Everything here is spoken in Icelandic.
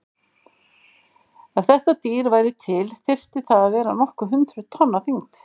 Ef þetta dýr væri til þyrfti það að vera nokkur hundruð tonn á þyngd.